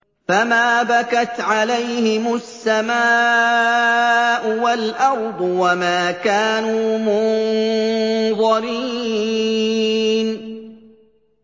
فَمَا بَكَتْ عَلَيْهِمُ السَّمَاءُ وَالْأَرْضُ وَمَا كَانُوا مُنظَرِينَ